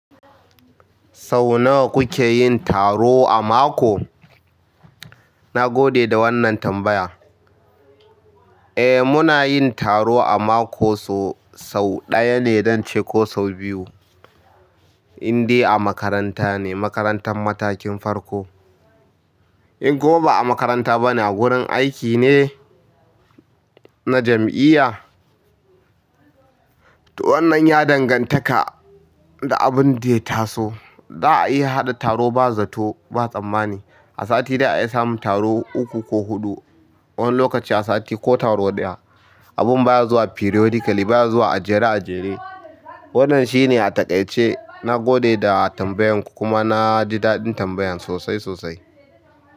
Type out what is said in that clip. Sau nawa kuke yin taro a mako? Na gode da wannan tambaya. Eh, muna yin taro a mako sau ɗaya ne, don ce ko sau biyu, inda a makaranta ne, makarantar matakin farko. In gobe a makaranta bana, wurin aiki ne na jami'iya. To wannan ya dangantaka da abun da ya taso. Za a iya haɗa taro ba zato ba tsammani. A sati da a iya samun taro ukku ko huɗu. Wani lokaci a sati ko taro ɗaya. Abin baya zuwa periodically, baya zuwa a jere a jere. Wannan shine a taƙaice. Na gode da tambayarku kuma na ji daɗin tambayan sosai sosai.